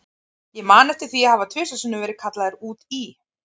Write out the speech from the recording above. Ég man eftir því að hafa tvisvar sinnum verið kallaður út í